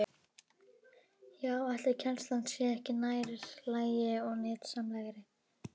Já, ætli kennslan sé ekki nær lagi og nytsamlegri?